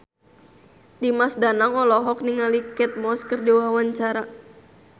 Dimas Danang olohok ningali Kate Moss keur diwawancara